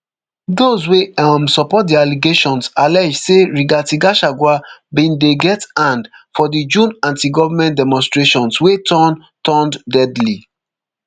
those wey um support di allegations allege say rigathi gachagua bin dey get hand for di june antigovernment demonstrations wey turn turned deadly